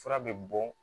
Fura bɛ bɔ